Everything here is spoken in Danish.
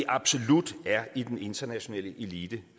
absolut er i den internationale elite